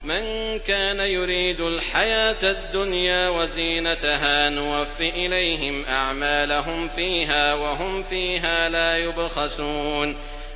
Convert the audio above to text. مَن كَانَ يُرِيدُ الْحَيَاةَ الدُّنْيَا وَزِينَتَهَا نُوَفِّ إِلَيْهِمْ أَعْمَالَهُمْ فِيهَا وَهُمْ فِيهَا لَا يُبْخَسُونَ